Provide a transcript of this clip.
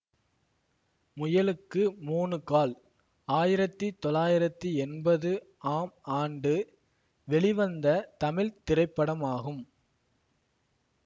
முயலுக்கு மூணு கால் ஆயிரத்தி தொளாயிரத்தி எண்பது ஆம் ஆண்டு வெளிவந்த தமிழ் திரைப்படமாகும்